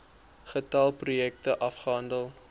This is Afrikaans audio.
getal projekte afgehandel